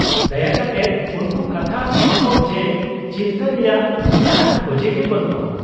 -ᱫᱟᱭᱟ ᱠᱟᱛᱮᱫ ᱩᱱᱠᱩ ᱠᱟᱛᱷᱟ ᱮᱢᱟᱠᱚᱢ ᱡᱮ ᱪᱤᱱᱛᱟᱹ ᱨᱮᱭᱟᱜ ᱡᱟᱦᱟᱱ ᱚᱡᱮ ᱜᱮ ᱵᱟᱹᱱᱩᱜᱼᱟ ᱾